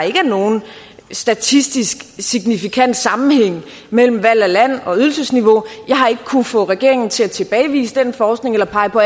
nogen statistisk signifikant sammenhæng mellem valg af land og ydelsesniveau jeg har ikke kunnet få regeringen til at tilbagevise den forskning eller pege på